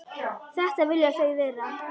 Þetta vilja þau vera.